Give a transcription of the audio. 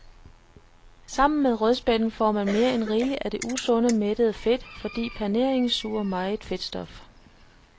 Sammen med rødspætten får man mere end rigeligt af det usunde mættede fedt, fordi paneringen suger meget fedtstof.